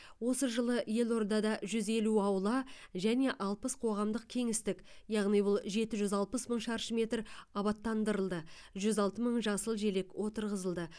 осы жылы елордада жүз елу аула және алпыс қоғамдық кеңістік яғни бұл жеті жүз алпыс мың шаршы метр абаттандырылды жүз алты мың жасыл желек отырғызылды